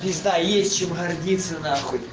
пизда есть чем гордиться нахуй